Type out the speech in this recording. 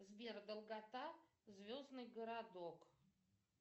сбер долгота звездный городок